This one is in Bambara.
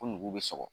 Ko nugu bɛ sɔgɔ